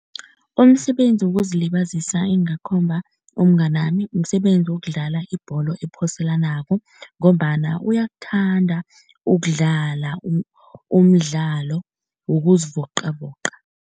Umsebenzi wokuzilibazisa engingakhomba umnganami, msebenzi wokudlala ibholo ephoselanako ngombana uyakuthanda ukudlala umdlalo wokuzivoqavoqa.